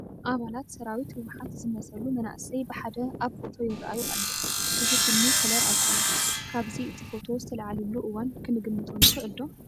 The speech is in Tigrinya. ኣባላት ሰራዊት ሕወሓት ዝመስሉ መናእሰይ ብሓደ ኣብ ፎቶ ይርአዩ ኣለዉ፡፡ እዚ ፊልሚ ከለር አይኮነን፡፡ ካብዚ እቲ ፎቶ ዝተላዕልሉ እዋን ክንግምቶ ንኽእል ዶ?